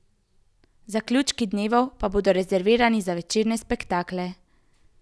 Zaključki dnevov pa bodo rezervirani za večerne spektakle.